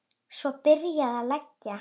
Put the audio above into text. Svo var byrjað að leggja.